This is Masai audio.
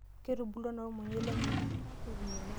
Ketubulutua naa irmunyei lenyenak?